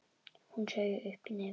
Hún saug upp í nefið.